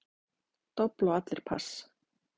Dobl og allir pass.